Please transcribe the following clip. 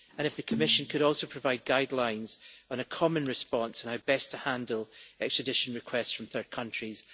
Could the Commission also provide guidelines on a common response on how best to handle extradition requests from third countries.